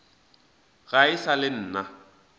ga e sa le nna